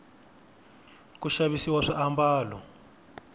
ku xavisiwa swiambalo